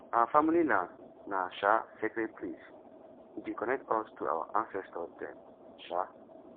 our family land na um sacred place e dey connect us to our ancestor dem um